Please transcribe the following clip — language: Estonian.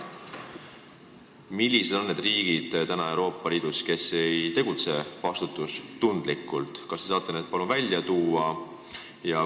Millised on need Euroopa Liidu riigid, kes ei tegutse vastutustundlikult?